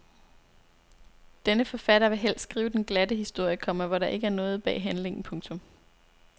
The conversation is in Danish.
Denne forfatter vil helst skrive den glatte historie, komma hvor der ikke er noget bag handlingen. punktum